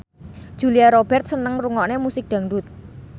Julia Robert seneng ngrungokne musik dangdut